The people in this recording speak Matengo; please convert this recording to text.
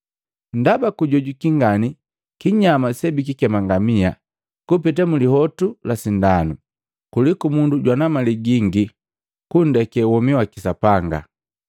Ndaba kujojwiki ngani kinyama sebikikema ngamia kupeta mulihotu la sindanu, kuliku mundu jwana mali gingi kundeke womi waki Sapanga.”